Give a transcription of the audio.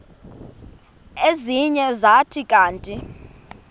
ezinye zathi kanti